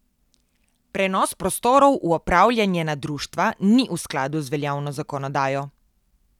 Prenos prostorov v upravljanje na društva ni v skladu z veljavno zakonodajo.